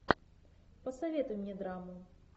посоветуй мне драму